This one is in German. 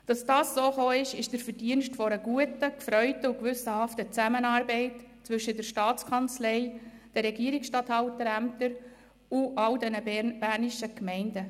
Das ist der Verdienst einer guten, erfreulichen und gewissenhaften Zusammenarbeit zwischen der Staatskanzlei, den Regierungsstatthalterämtern und allen bernischen Gemeinden.